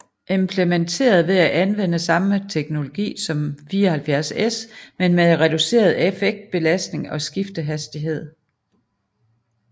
Implementeret ved at anvende samme teknologi som 74S men med reduceret effektbelastning og skiftehastighed